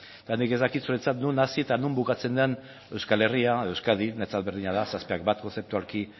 eta nik ez dakit zuretzat non hasi eta non bukatzen den euskal herria edo euskadi niretzat berdina da zazpiak bat kontzeptualki